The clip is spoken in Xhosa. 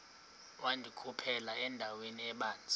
wandikhuphela endaweni ebanzi